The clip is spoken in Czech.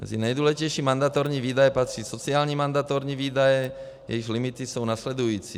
Mezi nejdůležitější mandatorní výdaje patří sociální mandatorní výdaje, jejichž limity jsou následující.